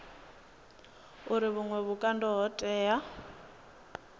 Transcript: uri vhuṅwe vhukando ho tea